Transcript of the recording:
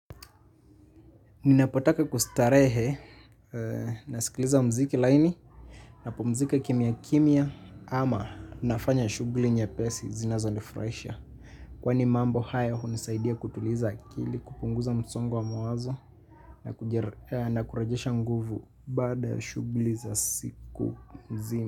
Ninapotaka kustarehe, nasikiliza muziki laini, napumzika kimya kimya ama nafanya shughuli nyepesi zinazonifurahisha. Kwani mambo hayo hunisaidia kutuliza akili kupunguza msongo wa mawazo na kurejesha nguvu baada ya shughuli za siku mzima.